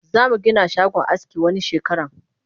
Zamu Gina shagon aski wani shekaran